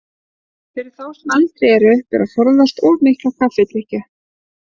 Fyrir þá sem eldri eru ber að forðast of mikla kaffidrykkju.